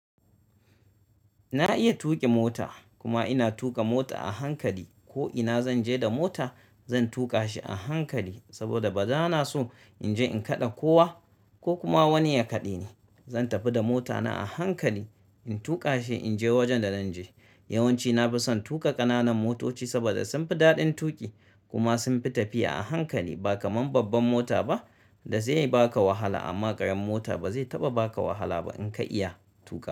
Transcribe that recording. Na iya tuƙin mota kuma ina tuƙa mota a hankali. Ko ina zan je da mota zan tuƙa shi a hankali saboda ba na so in je in kaɗe kowa ko kuma wani ya kaɗe ni. Zan tafi da mota na a hankali, in tuƙa shi in je wajen da zan je. Yawanci na fi son tuƙa ƙananan motoci saboda sun fi daɗin tuƙi kuma sun fi tafiya a hankali ba kamar babban mota ba da zai baka wahala. Amma ƙaramar mota ba zai taɓa baka wahala ba in ka iya tuƙa.